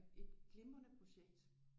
Et glimrende projekt